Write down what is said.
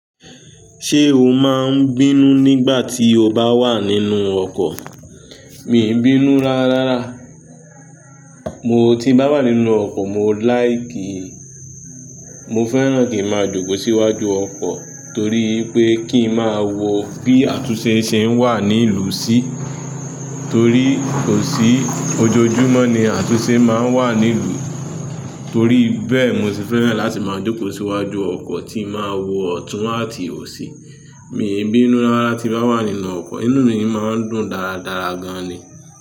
Ṣé o máa ń bínú nígbà tí o bá wà nínú ọkọ̀? Mi è bínú rárá rárá. Mo tí bá wà nínú ọkọ̀, mo láì kí, mo fẹ́ràn kí ń máa jókòó síwájú ọkọ̀ torí pé kí ń máa wo bí àtúnṣe ṣe ń wà ní ìlú sí torí kò sí ojoojúmọ́ ni àtúnṣe máa ń wà ní ìlú. Torí bẹ́ẹ̀, mo sì fẹ́ràn láti máa jókòó síwájú ọkọ̀ kí ń máa wo ọ̀tún àti òsì. Mi è bínú rárá tí bá wà nínú ọkọ̀. Inú mi máa ń dùn dáradára gan ni.